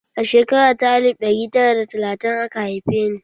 A shekara ta alif ɗari da tara da talatin aka haife ni